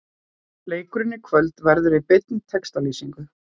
Leikurinn í kvöld verður í beinni textalýsingu.